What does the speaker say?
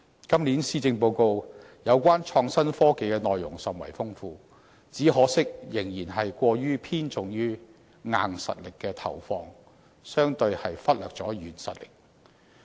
今年施政報告有關創新科技的內容甚為豐富，只可惜仍然過分偏重於"硬實力"，相對忽略了"軟實力"。